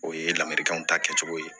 O ye laminikanw ta kɛcogo ye